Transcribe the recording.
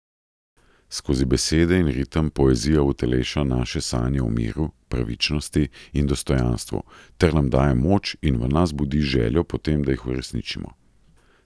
Skozi besede in ritem poezija uteleša naše sanje o miru, pravičnosti in dostojanstvu ter nam daje moč in v nas budi željo po tem, da jih uresničimo.